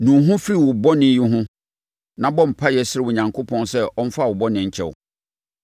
Nu wo ho firi wo bɔne yi ho na bɔ mpaeɛ srɛ Onyankopɔn sɛ ɔmfa wo bɔne nkyɛ wo.